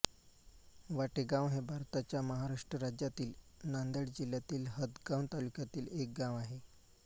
वाटेगाव हे भारताच्या महाराष्ट्र राज्यातील नांदेड जिल्ह्यातील हदगाव तालुक्यातील एक गाव आहे